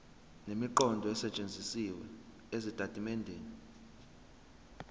nemiqondo esetshenzisiwe ezitatimendeni